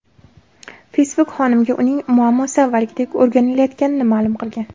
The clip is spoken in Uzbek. Facebook xonimga uning muammosi avvalgidek o‘rganilayotganini ma’lum qilgan.